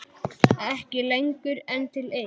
Ekki lengur en til eitt.